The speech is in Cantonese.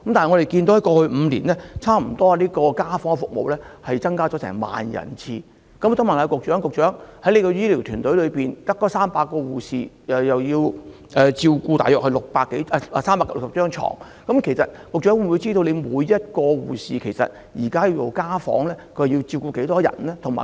我想問局長，在過去5年，家訪服務增加了差不多1萬次，但她的醫療團隊只有300名護士，他們還要照顧360張紓緩治療病床，局長是否知悉，現時每名護士進行家訪時要照顧多少名病人？